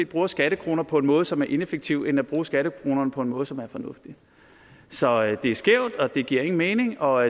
bruger skattekroner på en måde som er ineffektiv end ved at bruge skattekronerne på en måde som er fornuftig så det er skævt det giver ingen mening og